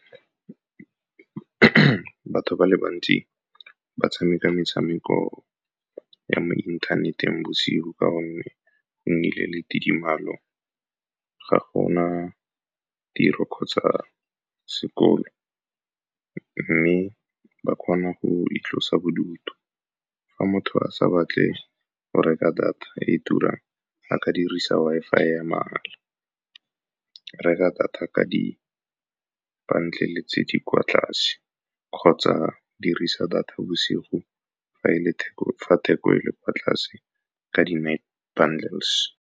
Batho ba le bantsi ba tshameka metshameko ya mo inthaneteng bosigo ka gonne go nnile le tidimalo, ga go na tiro kgotsa sekolo, mme ba kgona go itlosa bodutu. Fa motho a sa batle go reka data e turang, a ka dirisa Wi-Fi ya mahala, reka data ka di-bundle-e tse di kwa tlase, kgotsa dirisa data bosigo fa theko e le kwa tlase ka di-night bundles.